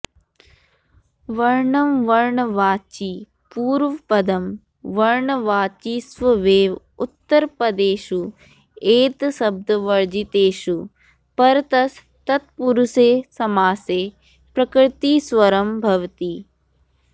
वर्णं वर्णवाचि पूर्वपदं वर्नवाचिष्वेव उत्तरपदेषू एतशब्दवर्जितेषु परतस् तत्पुरुषे समसे प्रकृतिस्वरम् भवति